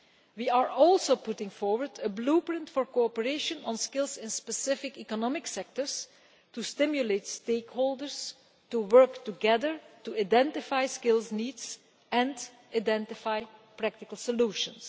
We are also putting forward a Blueprint' for cooperation on skills in specific economic sectors to stimulate stakeholders to work together, to identify skills needs and identify practical solutions.